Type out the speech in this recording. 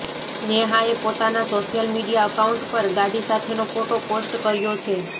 નેહાએ પોતાના social media account પર ગાડી સાથેનો ફોટો પોસ્ટ કર્યો છે